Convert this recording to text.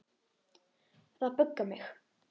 Og það böggar mig.